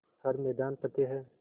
हर मैदान फ़तेह